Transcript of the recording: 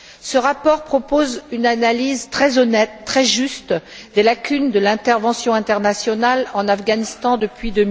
Ce rapport propose une analyse très honnête, très juste des lacunes de l'intervention internationale en Afghanistan depuis